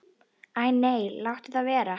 Æ nei, láttu það vera.